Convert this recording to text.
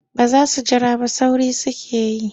Ba za su jira ba sauri suke yi.